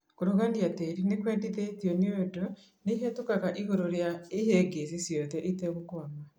kũrugunia tĩri nĩkwendekithĩtio nĩũndũ nĩĩhetũkaga igũrũ rĩa ihĩngĩcĩ ciothe ĩtegũkwama